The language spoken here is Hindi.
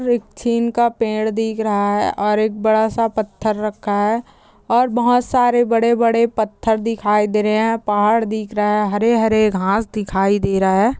और एक छीन का पेड़ दिख रहा है और एक बड़ा सा पत्थर रखा है और बहोत सारे बड़े-बड़े पत्थर दिखाई दे रहे है पहाड़ दिख रहा है हरे-हरे घास दिखाई दे रहा है।